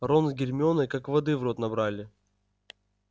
рон с гермионой как воды в рот набрали